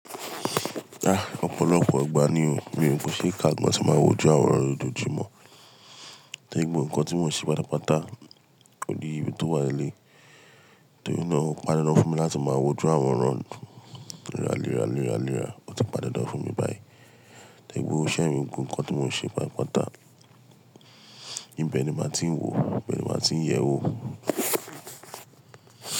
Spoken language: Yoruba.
Ah! Ọ̀pọ̀lọpọ̀ ọgbà ní o, bí nǹkan ṣe ń ká igbá tí máa wo ju àwọn orò ìdójúmọ̀, tàbí gbogbo nǹkan tí mò ń ṣe pátápátá òdí ibi tó wà ní ilé, torí náà ó pàdánù fún mi láti máa wojú àwọn orò ìràléra ìràléra. Ó ti pan dan dan fún mi báyìí, tàbí gbogbo iṣẹ́ mi gbogbo nǹkan tí mò ń ṣe pátápátá. Ibẹ̀ ni màá ti ń wò, ibẹ̀ ni màá ti ń yẹ̀wò.